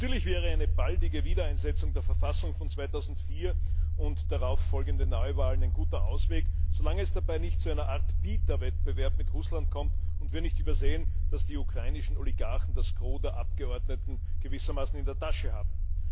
Natürlich wäre eine baldige Wiedereinsetzung der Verfassung von 2004 und darauffolgende Neuwahlen ein guter Ausweg, solange es dabei nicht zu einer Art Bieterwettbewerb mit Russland kommt und wir nicht übersehen, dass die ukrainischen Oligarchen das Gros der Abgeordneten gewissermaßen in der Tasche haben.